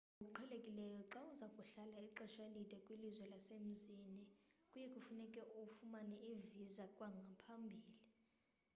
ngokuqhelekileyo xa uza kuhlala ixesha elide kwilizwe lasemzini kuye kufuneke ufumane i-visa kwangaphambili